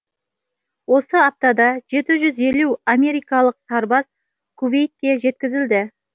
осы аптада жеті жүз елу америкалық сарбаз кувейтке жеткізілді